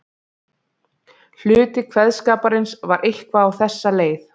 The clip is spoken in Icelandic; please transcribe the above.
Hluti kveðskaparins var eitthvað á þessa leið